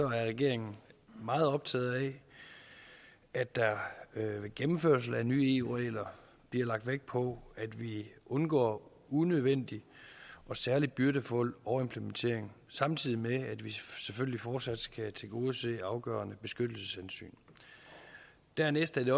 regeringen meget optaget af at der ved gennemførelsen af nye eu regler bliver lagt vægt på at vi undgår unødvendig og særlig byrdefuld overimplementering samtidig med at vi selvfølgelig fortsat skal tilgodese afgørende beskyttelseshensyn dernæst er det